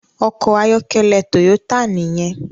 Òkò àyòkèlè Toyota niyèn